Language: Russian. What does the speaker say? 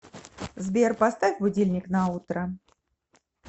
сбер поставь будильник на утро